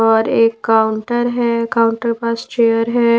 और एक काउंटर है काउंटर के पास चेयर है।